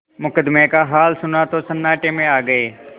मुकदमे का हाल सुना तो सन्नाटे में आ गये